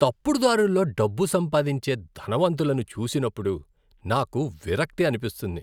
తప్పుడు దారుల్లో డబ్బు సంపాదించే ధనవంతులను చూసినప్పుడు, నాకు విరక్తి అనిపిస్తుంది.